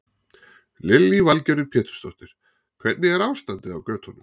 Lillý Valgerður Pétursdóttir: Hvernig er ástandið á götunum?